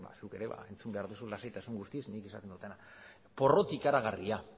zuk ere entzun behar dozu lasaitasun guztiz nik esaten dudana porrot ikaragarria